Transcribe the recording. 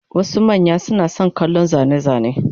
Wasu manya suna son kallon zane-zane,